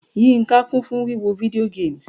Yínká kun fun wiwo video games: